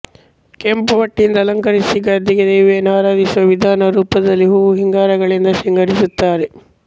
ಕೆಂಪು ಪಟ್ಟಿಯಿಂದ ಅಲಕಂರಿಸಿ ಗದ್ದಿಗೆ ದೇವಿಯನ್ನು ಆರಾಧಿಸುವ ವಿಧಾನ ರೂಪದಲ್ಲಿ ಹೂ ಹಿಂಗಾರಗಳಿಂದ ಶೃಂಗರಿಸುತ್ತಾರೆ